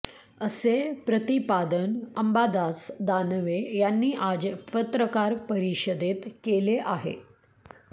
असे प्रतिपादन अंबादास दानवे यांनी आज पत्रकार परिषदेत केले आहे